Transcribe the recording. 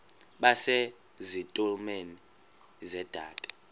base zitulmeni zedaka